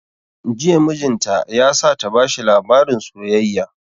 Jiya mijin ta ya sa ta bashi labarin soyayya